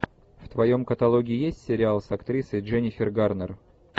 в твоем каталоге есть сериал с актрисой дженнифер гарнер